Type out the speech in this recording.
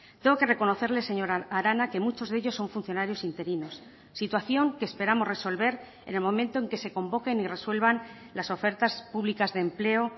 tengo que reconocerle señora arana que muchos de ellos son funcionarios interinos situación que esperamos resolver en el momento en que se convoquen y resuelvan las ofertas públicas de empleo